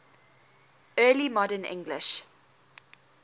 early modern english